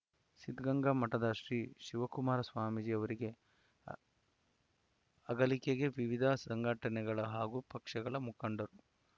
ಸಿದ್ಧಗಂಗಾ ಮಠದ ಶ್ರೀ ಶಿವಕುಮಾರ ಸ್ವಾಮೀಜಿ ಅವರಿಗೆ ಅಗಲಿಕೆಗೆ ವಿವಿಧ ಸಂಘಟನೆಗಳ ಹಾಗೂ ಪಕ್ಷಗಳ ಮುಖಂಡರು